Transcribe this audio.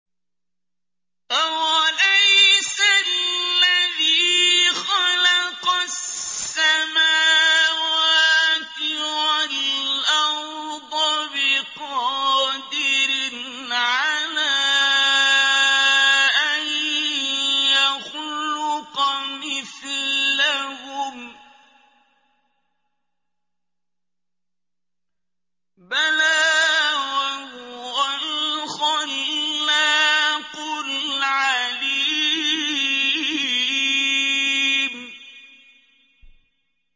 أَوَلَيْسَ الَّذِي خَلَقَ السَّمَاوَاتِ وَالْأَرْضَ بِقَادِرٍ عَلَىٰ أَن يَخْلُقَ مِثْلَهُم ۚ بَلَىٰ وَهُوَ الْخَلَّاقُ الْعَلِيمُ